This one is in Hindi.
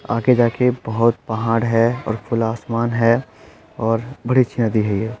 आके जाके बहोत पहाड़ है और खुला आसमान है और बड़ी अच्छी नदी है ये।